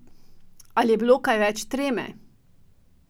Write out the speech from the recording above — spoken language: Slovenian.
Ali je bilo kaj več treme?